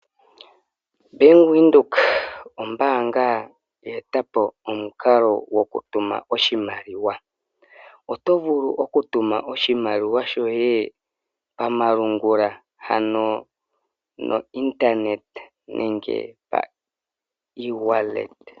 Bank Windhoek ombaanga ya etapo omukalo goku tuma oshimaliwa. Oto vulu oku tuma oshimaliwa shoye pa malungula ano no internet nenge pa ewallet.